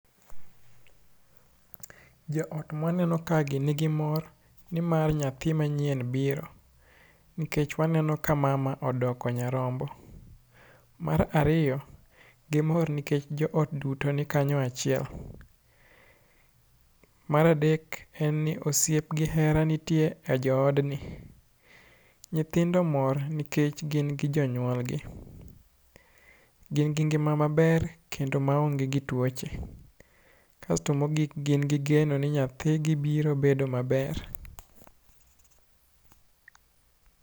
Joot mwaneno kagi nigi mor nimar nyathi manyien biro, nikech waneno ka mama odoko nyarombo. Mar ariyo gimor nikech joot duto nikanyo achiel. Mar adek, en ni osiep gi hera nitie e joodni. Nyithindo mor nikech gin gi jonyuolgi, gin gi ngima maber kendo maonge gi tuoche. Kasto mogik gin gi geno ni nyathigi biro bedo maber.